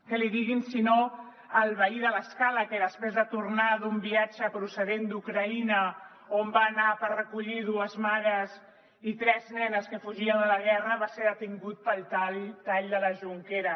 que l’hi diguin si no al veí de l’escala que després de tornar d’un viatge procedent d’ucraïna on va anar a recollir dues mares i tres nenes que fugien de la guerra va ser detingut pel tall de la jonquera